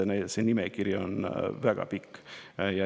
See nimekiri on väga pikk.